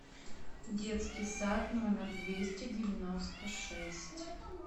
детский сад номер двести девяносто шесть